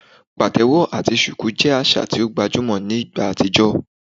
Patewo ati shuku jẹ aṣa ti o gbajumọ ni igba atijọ